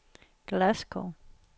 Glasgow